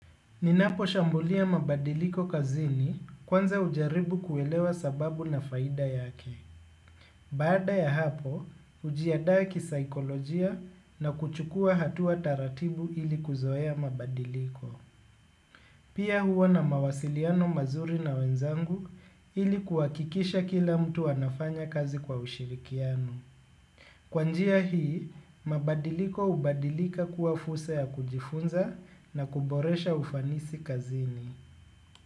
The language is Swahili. Ninapo shambulia mabadiliko kazini kwanza ujaribu kuelewa sababu na faida yake. Baada ya hapo, ujiandae kisaikolojia na kuchukua hatu wa taratibu ili kuzoea mabadiliko. Pia huwa na mawasiliano mazuri na wenzangu ili kuwakikisha kila mtu anafanya kazi kwa ushirikiano. Kwanjia hii, mabadiliko ubadilika kuwa furusa ya kujifunza na kuboresha ufanisi kazini.